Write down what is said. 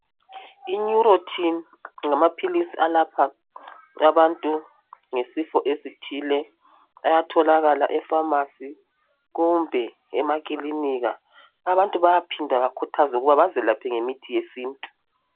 Ineurontin ngamaphilizi alapha abantu ngesifo esithile ayatholakala ekhemisi kumbe emakilinika. Abantu bayaphinda bayakhuthazwe ukuthi bazelaphe ngemithi yesintu.